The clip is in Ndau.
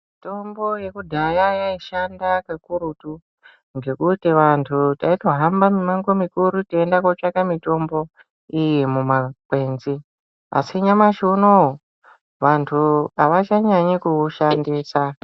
Mitombo yekudhaya yaishanda kakurutu ngekuti vantu taito hambe mimango mikuru teiende kotsvake mitombo iyi mumakwenzi asi nyamashi uno vantu avachanyanyi kuushandisa.